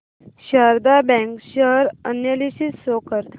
Sharda bank share analysis show कर